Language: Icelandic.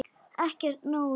Ekki nógu góður!